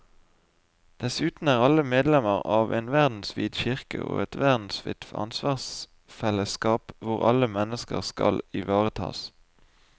Dessuten er alle medlemmer av en verdensvid kirke og et verdensvidt ansvarsfellesskap hvor alle mennesker skal ivaretas.